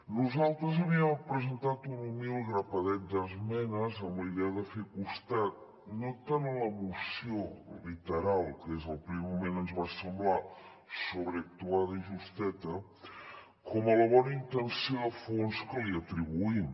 nosaltres havíem presentat un humil grapadet d’esmenes amb la idea de fer costat no tant a la moció literal que des del primer moment ens va semblar sobreactuada i justeta com a la bona intenció de fons que li atribuïm